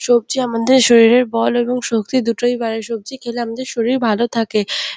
সবজি আমাদের শরীরের বল এবং শক্তি দুটোই বাড়ায় সবজি খেলে আমাদের শরীর ভালো থাকে।